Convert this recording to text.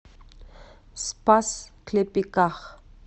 спас клепиках